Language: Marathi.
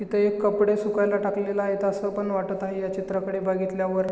इथं एक कपडे सुकायला टाकलेले आहेत असं पण वाटत आहे ह्या चित्राकडे बघितल्या वर.